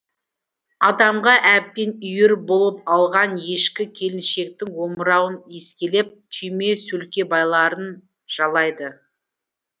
адамға әбден үйір болып алған ешкі келіншектің омырауын иіскелеп түйме сөлкебайларын жалайды